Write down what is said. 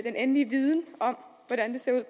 endelige viden om hvordan det ser